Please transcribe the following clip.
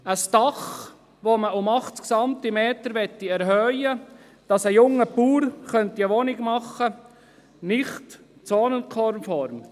Ein Dach, das um 80 Zentimeter erhöht werden soll, damit ein junger Bauer eine Wohnung einbauen könnte, gilt als nicht zonenkonform.